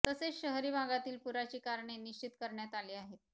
तसेच शहरी भागातील पुराची कारणे निश्चित करण्यात आली आहेत